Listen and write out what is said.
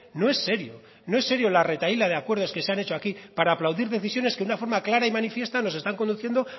no es serio no es serio la retahíla de acuerdos que se han hecho aquí para aplaudir decisiones que una forma clara y manifiesta nos están conduciendo